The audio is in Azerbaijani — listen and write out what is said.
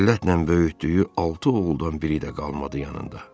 Zillətlə böyütdüyü altı oğuldan biri də qalmadı yanında.